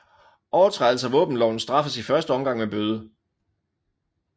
Overtrædelse af våbenloven straffes i første omgang med bøde